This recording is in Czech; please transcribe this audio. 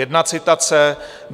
- Jedna citace.